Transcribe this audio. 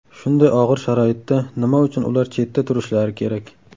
Shunday og‘ir sharoitda nima uchun ular chetda turishlari kerak?